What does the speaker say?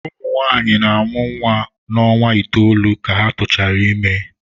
Ụmụ nwanyị na-amụ nwa ọnwa itoolu ka ha tụchara ime.